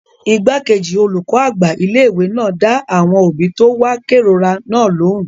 Igbákejì olùkọ́ àgbà ilé-ìwé náà dá àwọn òbí tó wá kérora náà lóhùn